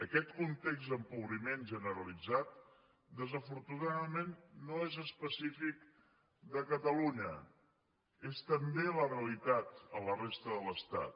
aquest context d’empobriment generalitzat desafortunadament no és específic de catalunya és també la realitat a la resta de l’estat